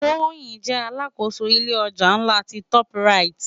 Toyin jè àlákósó ilé òjá nlá ti tòp ráyit